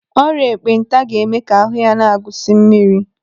Ọrịa ekpenta ga-eme ka ahụ ya na-agụsi mmiri.